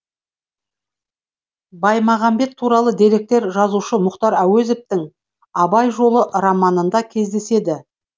баймағамбет туралы деректер жазушы мұхтар әуезовтің абай жолы романында кездеседі